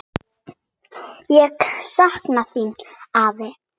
Ég sakna þín, afi.